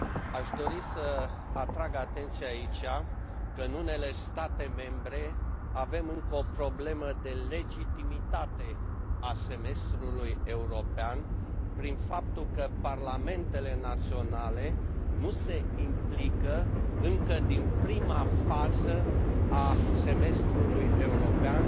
Aș dori să atrag atenția aici că, în unele state membre, avem încă o problemă de legitimitate a Semestrului european prin faptul că parlamentele naționale nu se implică încă din prima fază a Semestrului european